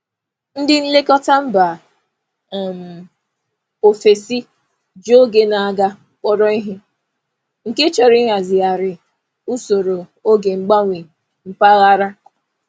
Ndị nlekọta mba um ofesi ji oge na-aga kpọrọ ihe, nke chọrọ ịhazigharị usoro oge mgbanwe mpaghara.